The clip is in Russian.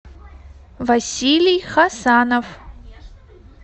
василий хасанов